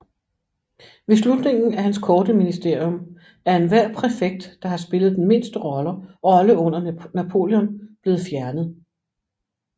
Ved slutningen af hans korte ministerium er enhver præfekt der har spillet den mindste rolle under Napoleon blevet fjernet